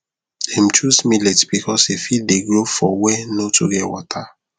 dem chose millet because e fit dey grow for were nor too get water